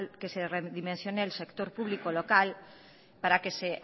que redimensione el sector público local para que se